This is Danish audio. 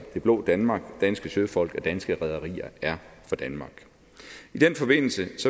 det blå danmark danske søfolk og danske rederier er for danmark i den forbindelse